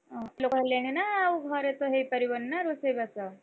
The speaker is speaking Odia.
ଲୋକ ହେଲେଣି ନା! ଆଉ ଘରେତ ହେଇପାରିବନି ନା! ରୋଷେଇବାସ?